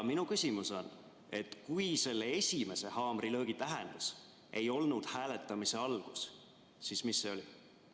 Minu küsimus on: kui selle esimese haamrilöögi tähendus ei olnud hääletamise algus, siis mis see oli?